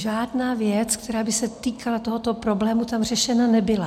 Žádná věc, která by se týkala tohoto problému, tam řešena nebyla.